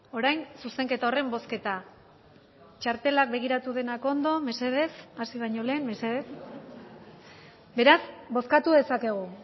orain zuzenketa horren bozketa txartelak begiratu denak ondo mesedez hasi baino lehen mesedez beraz bozkatu dezakegu